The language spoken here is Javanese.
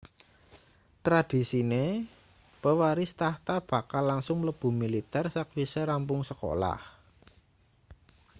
tradisine pewaris tahta bakal langsung mlebu militer sakwise rampung sekolah